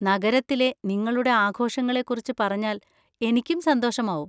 നഗരത്തിലെ നിങ്ങളുടെ ആഘോഷങ്ങളെ കുറിച്ച് പറഞ്ഞാൽ എനിക്കും സന്തോഷമാവും.